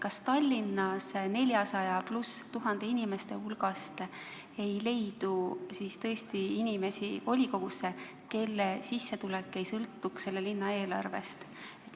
Kas Tallinnas rohkem kui 400 000 inimese hulgas ei leidu siis tõesti inimesi volikogusse, kelle sissetulek ei sõltuks selle linna eelarvest?